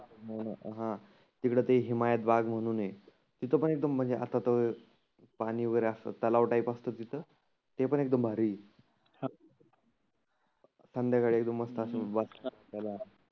हं तीकड ते हिमायत बाग म्हणुन आहे. तीथं पण एकदम म्हणजे आता तर पाणि वगैरे असतात तलाव टाईप असतं तीथं. ते पण एकदम भारी आहे. संध्याकाळी एकदम मस्त असं याला